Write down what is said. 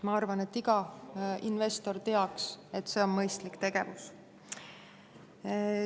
Ma arvan, et iga investor teab, et see on mõistlik tegevus.